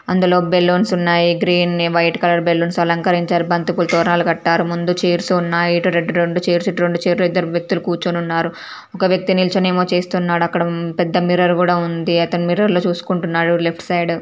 అందులో బెలూన్స్ ఉన్నాయి green white colour balloons అలంకరించారు బంతి పూలతోనే తోరణాలు కట్టారు ముందు చైర్స్ ఉన్నాయి ఆటో టి ఇటి చేర్లు రెండు చేర్లు ఇద్దరు వ్యక్తులు కూర్చుని ఉన్నారు ఒక వ్యక్తి నిల్చుకొని ఏమో చేస్తున్నాడు అక్కడ పెద్ద మిర్రర్ కూడా ఉంది అతని మిర్రర్ లో చూసుకుంటున్నాడు లెఫ్ట్ సైడ్.